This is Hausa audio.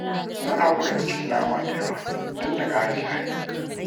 Na haƙura da cin nama da yawa dan na ƙara jari